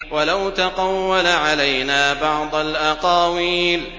وَلَوْ تَقَوَّلَ عَلَيْنَا بَعْضَ الْأَقَاوِيلِ